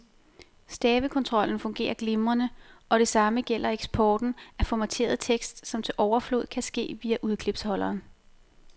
Stavekontrollen fungerer glimrende, og det samme gælder eksporten af formateret tekst, som til overflod kan ske via udklipsholderen.